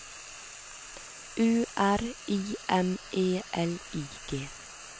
U R I M E L I G